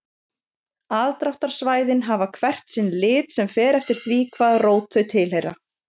Aðdráttarsvæðin hafa hvert sinn lit sem fer eftir því hvaða rót þau tilheyra.